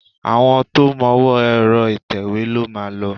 Àwọn tó mọwọ́ọ ẹ̀rọ ìtẹ̀wé ló máa lòó.